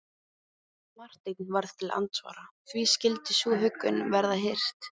Marteinn varð til andsvara: Því skyldi sú huggun verða hirt?